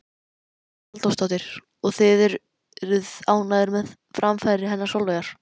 Hugrún Halldórsdóttir: Og þið eruð ánægðir með framfarir hennar Sólveigar?